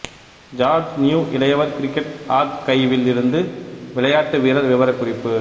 George New இளையவர் cricket ஆக்கைவில் இருந்து விளையாட்டுவீரர் விபரக்குறிப்பு